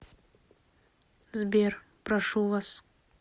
сбер прошу вас